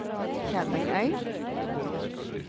Kjerringøy